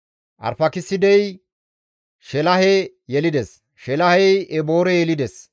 Arfaakisidey Sheelahe yelides; Sheelahey Eboore yelides;